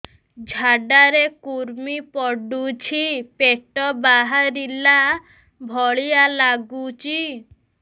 ଝାଡା ରେ କୁର୍ମି ପଡୁଛି ପେଟ ବାହାରିଲା ଭଳିଆ ଲାଗୁଚି